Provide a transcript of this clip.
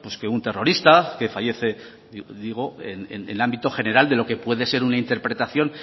que un terrorista que fallece digo en ámbito general de lo que puede ser una interpretación